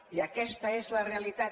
i aquesta és la realitat